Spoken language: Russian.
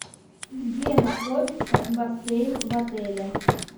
где находится бассейн в отеле